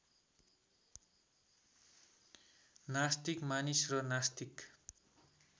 नास्तिक मानिस र नास्तिक